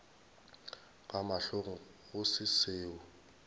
ka mahlong go se seo